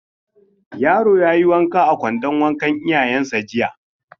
Yaro ya yi wanka a kwandon wankan iyayensa jiya.